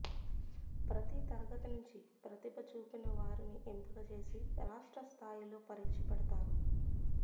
ప్రతీ తరగతి నుంచి ప్రతిభ చూపిన వారిని ఎంపిక చేసి రాష్ట్ర స్థాయిలో పరీక్ష పెడతారు